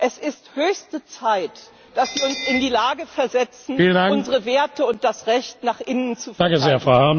Es ist höchste Zeit, dass wir uns in die Lage versetzen, unsere Werte und das Recht nach innen zu verteidigen.